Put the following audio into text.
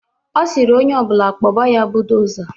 Ọ sịrị onye ọ bụla kpọba ya buudoza.